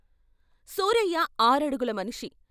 సూరయ్య ఆరడుగుల మనిషి.